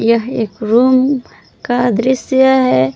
यह एक रूम का दृश्य है।